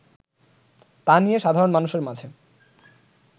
তা নিয়ে সাধারণ মানুষের মাঝে